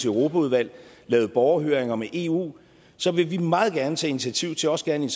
europaudvalg lavede borgerhøringer om eu vil vi meget gerne tage initiativ til også gerne i